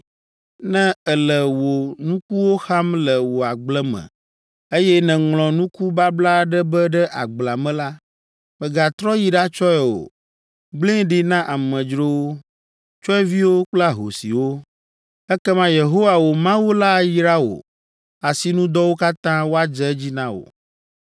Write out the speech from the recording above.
Ne èle wò nukuwo xam le wò agble me, eye nèŋlɔ nuku babla aɖe be ɖe agblea me la, mègatrɔ yi ɖatsɔe o. Gblẽe ɖi na amedzrowo, tsyɔ̃eviwo kple ahosiwo. Ekema Yehowa, wò Mawu la ayra wò asinudɔwo katã woadze edzi na wò.